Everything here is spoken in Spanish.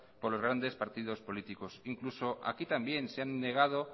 por los grandes partidos políticos incluso aquí también se han negado